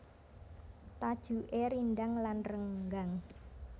Tajuké rindhang lan renggang